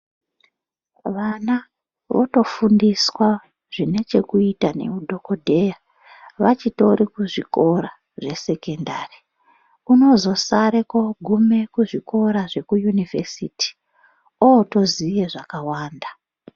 Vana votofundiswa zvinechekuita neudhokodheya vachitori kuzvikora zvesekendari unozosare kogume kuzvikora zveyunivhesiti otoziye zvakawanda .